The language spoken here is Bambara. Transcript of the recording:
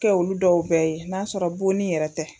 Kɛ olu dɔw bɛɛ ye n'a sɔrɔ bonni yɛrɛ tɛ